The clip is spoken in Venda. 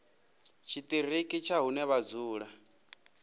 tshiṱiriki tsha hune vha dzula